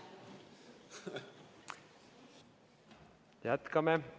Jätkame.